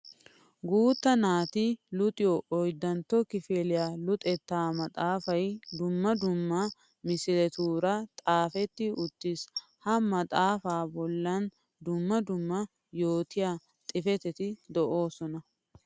Guuta naati luxiyo 4tta kifiliya luxetta maxafay dumma dumma misilettura xaafetti uttiis. Ha maxafaa bollan dumma dumma yootiya xuufetti de'osona.